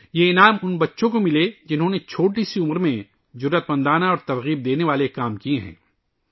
یہ ایوارڈز ، ان بچوں کو دیئے جاتے ہیں ، جنہوں نے کم عمری میں جرات مندانہ اور متاثر کن کام کئے ہے